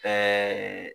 Ɛɛ